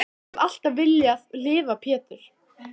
Ég hef alltaf viljað lifa Pétur.